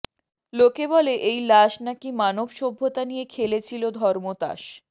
লোকে বলে এই লাশ নাকি মানব সভ্যতা নিয়ে খেলেছিল ধর্মতাস